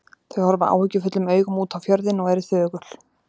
Þau horfa áhyggjufullum augum út á fjörðinn og eru þögul.